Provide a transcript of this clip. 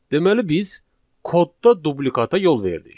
Deməli biz kodda dublikata yol verdik.